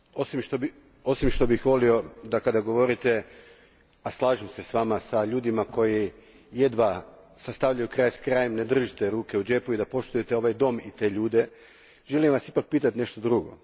Gospodine Woolfe, osim što bih volio da kada govorite, a slažem se s vama, s ljudima koji jedva sastavljaju kraj s krajem ne držite ruke u džepu i poštujete ovaj dom i te ljude, želim vas ipak pitati nešto drugo.